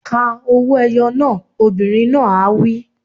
Ka owó-ẹyọ náà! Obìnrin náà á wí.